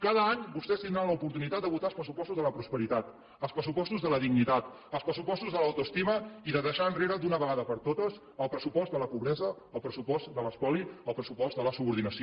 cada any vostès tindran l’oportunitat de votar els pressupostos de la prosperitat els pressupostos de la dignitat els pressupostos de l’autoestima i de deixar enrere d’una vegada per totes el pressupost de la pobresa el pressupost de l’espoli el pressupost de la subordinació